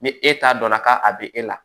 Ni e ta dɔnna ka a be e la